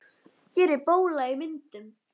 Hér er bóla í myndun.